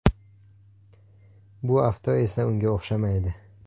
Bu avto esa unga o‘xshamaydi.